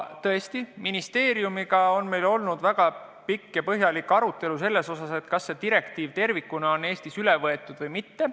Tõesti, ministeeriumiga on meil olnud väga pikk ja põhjalik arutelu selle üle, kas see direktiiv tervikuna on Eestis üle võetud või mitte.